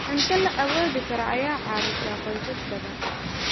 Cunto la awoodi karo ayaa caawisa qoysas badan.